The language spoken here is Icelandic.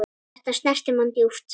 Þetta snerti mann djúpt.